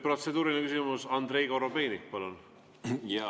Protseduuriline küsimus, Andrei Korobeinik, palun!